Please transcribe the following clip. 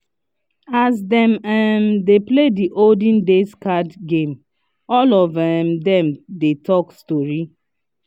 as dem um dey play the olden days card game all of um dem dey talk story